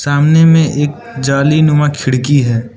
सामने में एक जालीनुमा खिड़की है।